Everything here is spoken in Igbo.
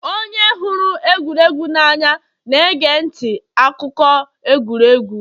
onye hụrụ egwuregwu n'anya na-ege ntị akụkọ egwuregwu